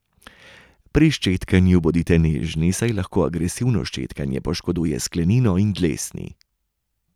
Pri ščetkanju bodite nežni, saj lahko agresivno ščetkanje poškoduje sklenino in dlesni.